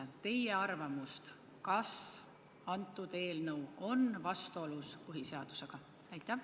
Palun teie arvamust: kas see eelnõu on vastuolus põhiseadusega?